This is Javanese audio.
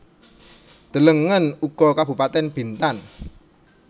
Delengen uga Kabupatèn Bintan